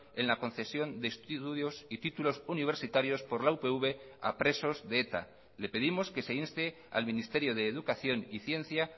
en la concesión de estudios y títulos universitarios por la upv a presos de eta le pedimos que se inste al ministerio de educación y ciencia